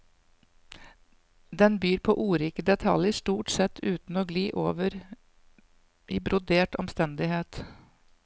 Den byr på ordrike detaljer, stort sett uten å gli over i brodert omstendighet.